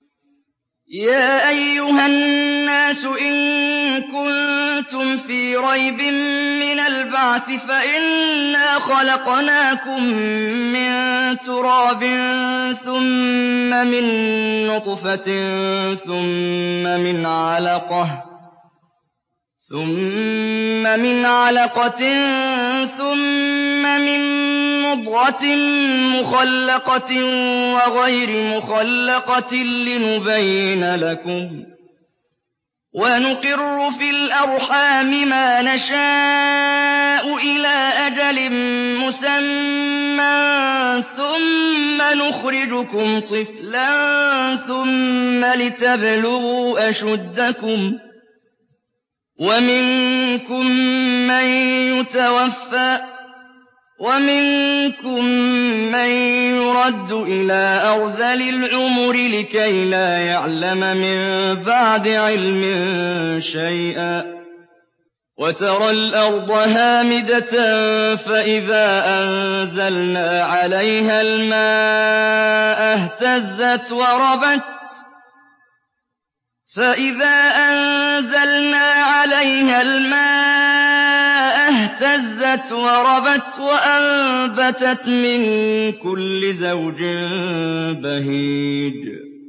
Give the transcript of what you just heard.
يَا أَيُّهَا النَّاسُ إِن كُنتُمْ فِي رَيْبٍ مِّنَ الْبَعْثِ فَإِنَّا خَلَقْنَاكُم مِّن تُرَابٍ ثُمَّ مِن نُّطْفَةٍ ثُمَّ مِنْ عَلَقَةٍ ثُمَّ مِن مُّضْغَةٍ مُّخَلَّقَةٍ وَغَيْرِ مُخَلَّقَةٍ لِّنُبَيِّنَ لَكُمْ ۚ وَنُقِرُّ فِي الْأَرْحَامِ مَا نَشَاءُ إِلَىٰ أَجَلٍ مُّسَمًّى ثُمَّ نُخْرِجُكُمْ طِفْلًا ثُمَّ لِتَبْلُغُوا أَشُدَّكُمْ ۖ وَمِنكُم مَّن يُتَوَفَّىٰ وَمِنكُم مَّن يُرَدُّ إِلَىٰ أَرْذَلِ الْعُمُرِ لِكَيْلَا يَعْلَمَ مِن بَعْدِ عِلْمٍ شَيْئًا ۚ وَتَرَى الْأَرْضَ هَامِدَةً فَإِذَا أَنزَلْنَا عَلَيْهَا الْمَاءَ اهْتَزَّتْ وَرَبَتْ وَأَنبَتَتْ مِن كُلِّ زَوْجٍ بَهِيجٍ